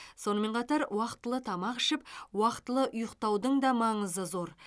сонымен қатар уақытылы тамақ ішіп уақытылы ұйықтаудың да маңызы зор